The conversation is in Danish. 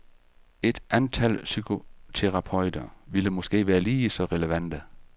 Et antal psykoterapeuter ville måske være lige så relevante.